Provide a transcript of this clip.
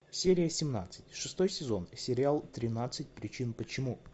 серия семнадцать шестой сезон сериал тринадцать причин почему